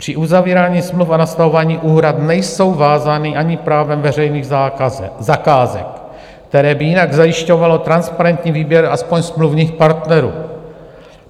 Při uzavírání smluv a nastavování úhrad nejsou vázány ani právem veřejných zakázek, které by jinak zajišťovalo transparentní výběr aspoň smluvních partnerů.